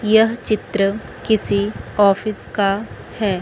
यह चित्र किसी ऑफिस का है।